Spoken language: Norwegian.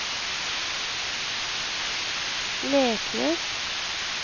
Leknes